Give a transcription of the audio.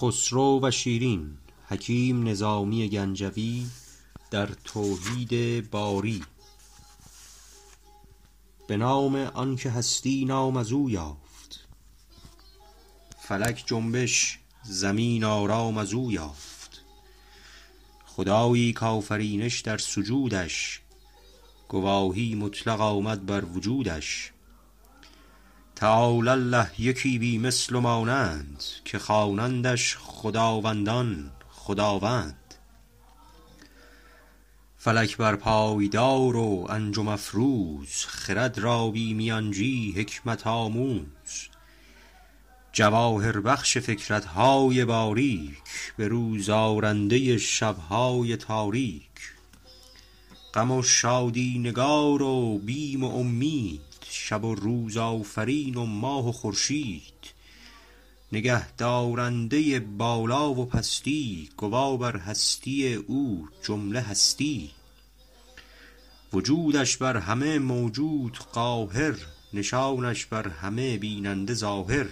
به نام آنکه هستی نام ازو یافت فلک جنبش زمین آرام ازو یافت خدایی ک آفرینش در سجودش گواهی مطلق آمد بر وجود ش تعالی الله یکی بی مثل ومانند که خوانندش خداوندان خداوند فلک بر پای دار و انجم افروز خرد را بی میانجی حکمت آموز جواهر بخش فکرت های باریک به روز آرنده شب های تاریک غم و شادی نگار و بیم و امید شب و روز آفرین و ماه و خورشید نگه دارنده بالا و پستی گوا بر هستی او جمله هستی وجودش بر همه موجود قاهر نشانش بر همه بیننده ظاهر